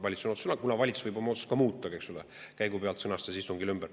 Valitsus võib oma otsust muuta ka, eks ole, käigu pealt sõnastab istungil ümber.